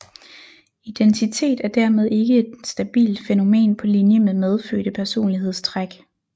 Identitet er dermed ikke et stabilt fænomen på linje med medfødte personlighedstræk